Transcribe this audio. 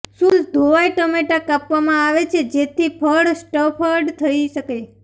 શુદ્ધ ધોવાઇ ટમેટાં કાપવામાં આવે છે જેથી ફળ સ્ટફ્ડ થઈ શકે